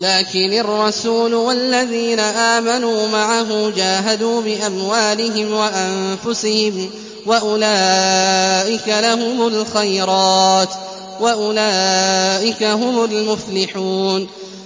لَٰكِنِ الرَّسُولُ وَالَّذِينَ آمَنُوا مَعَهُ جَاهَدُوا بِأَمْوَالِهِمْ وَأَنفُسِهِمْ ۚ وَأُولَٰئِكَ لَهُمُ الْخَيْرَاتُ ۖ وَأُولَٰئِكَ هُمُ الْمُفْلِحُونَ